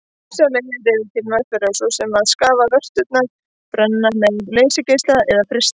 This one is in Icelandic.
Ýmsar leiðir eru til meðferðar svo sem að skafa vörturnar, brenna með leysigeisla eða frysta.